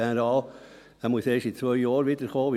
Er muss erst in zwei Jahren wiederkommen.